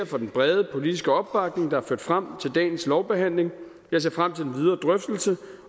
for den brede politiske opbakning der har ført frem til dagens lovbehandling jeg ser frem til den videre drøftelse